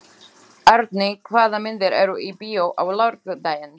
Árney, hvaða myndir eru í bíó á laugardaginn?